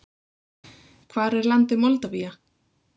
Hvar er landið Moldavía?